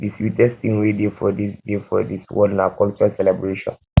the sweetest thing wey dey for this dey for this world na cultural celebration